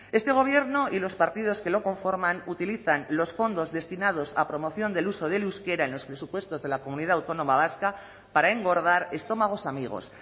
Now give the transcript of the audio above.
este gobierno y los partidos que lo conforman utilizan los fondos destinados a promoción del uso del euskera en los presupuestos de la comunidad autónoma vasca para engordar estómagos amigos